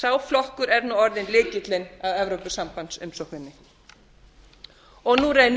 sá flokkur er nú orðinn lykillinn að evrópusambandsumsókninni og nú reynir